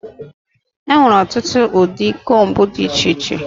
Enwere ọtụtụ ụdị combu dị iche iche.